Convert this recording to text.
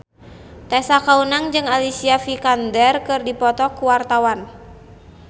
Tessa Kaunang jeung Alicia Vikander keur dipoto ku wartawan